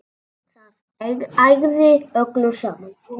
Það ægði öllu saman.